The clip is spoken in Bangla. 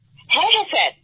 হ্যাঁ হ্যাঁ স্যার